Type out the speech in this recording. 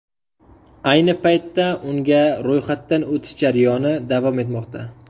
Ayni paytda unga ro‘yxatdan o‘tish jarayoni davom etmoqda.